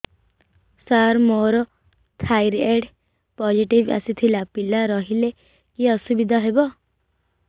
ସାର ମୋର thyroid positive ଆସିଥିଲା ପିଲା ରହିଲେ କି ଅସୁବିଧା ହେବ